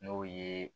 N'o ye